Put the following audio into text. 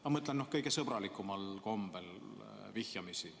Ma mõtlen kõige sõbralikumal kombel, vihjamisi.